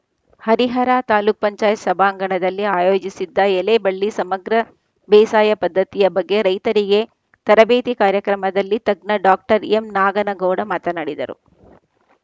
ಹರಿಹರ ತಾಲೂಕ್ ಪಂಚಾಯತ್ ಸಭಾಂಗಣದಲ್ಲಿ ಆಯೋಜಿಸಿದ್ದ ಎಲೆ ಬಳ್ಳಿ ಸಮಗ್ರ ಬೇಸಾಯ ಪದ್ಧತಿಯ ಬಗ್ಗೆ ರೈತರಿಗೆ ತರಬೇತಿ ಕಾರ್ಯಕ್ರಮದಲ್ಲಿ ತಜ್ಞ ಡಾ ಎಂನಾಗನಗೌಡ ಮಾತನಾಡಿದರು